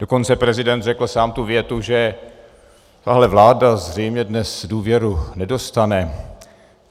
Dokonce prezident řekl sám tu větu, že tahle vláda zřejmě dnes důvěru nedostane.